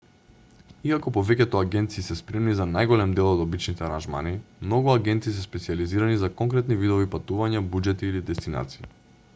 иако повеќето агенции се спремни за најголем дел од обичните аранжмани многу агенти се специјализирани за конкретни видови патувања буџети или дестинации